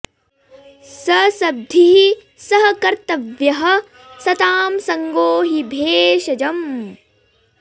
स सद्भिः सह कर्तव्यः सतां सङ्गो हि भेषजम्